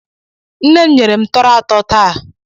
Nne m nyere m tọrọ ato taa.